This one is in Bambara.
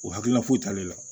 O hakilina foyi t'ale la